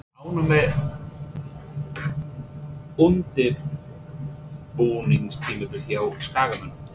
Ertu ánægður með undirbúningstímabilið hjá Skagamönnum?